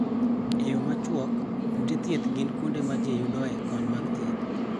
E yo machuok: Ute thieth gin kuonde ma ji yudoe kony mag thieth